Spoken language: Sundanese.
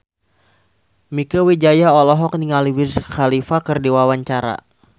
Mieke Wijaya olohok ningali Wiz Khalifa keur diwawancara